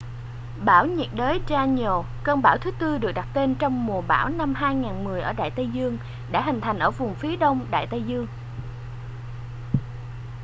bão nhiệt đới danielle cơn bão thứ tư được đặt tên trong mùa bão năm 2010 ở đại tây dương đã hình thành ở vùng phía đông đại tây dương